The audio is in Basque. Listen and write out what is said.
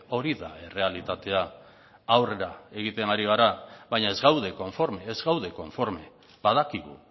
hori da errealitatea aurrera egiten ari gara baina ez gaude konforme ez gaude konforme badakigu